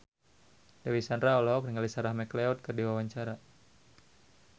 Dewi Sandra olohok ningali Sarah McLeod keur diwawancara